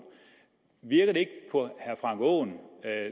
virker det ikke på herre frank aaen